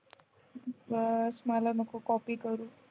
बस मला नको कॉपी करू